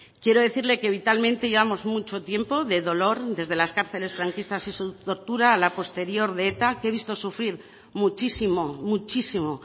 quiero decirle que vitalmente llevamos mucho tiempo de dolor desde las cárceles franquistas y su tortura a la posterior de eta que he visto sufrir muchísimo muchísimo